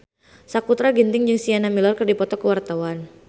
Sakutra Ginting jeung Sienna Miller keur dipoto ku wartawan